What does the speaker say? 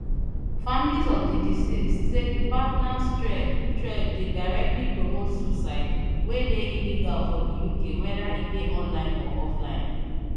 families of di deceased say di partners thread thread dey directly promote suicide wey dey illegal for di uk weda e dey online or offline